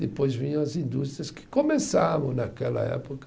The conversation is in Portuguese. Depois vinham as indústrias que começavam naquela época